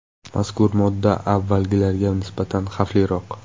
Mazkur modda avvalgilariga nisbatan xavfliroq.